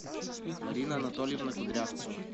марина анатольевна кудрявцева